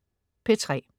P3: